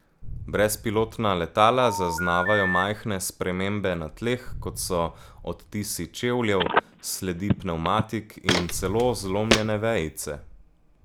Brezpilotna letala zaznavajo majhne spremembe na tleh, kot so odtisi čevljev, sledi pnevmatik in celo zlomljene vejice.